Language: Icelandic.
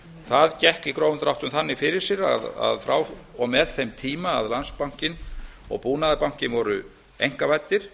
það gekk í grófum dráttum þannig fyrir sig að frá og með þeim tíma að landsbankinn og búnaðarbankinn voru einkavæddir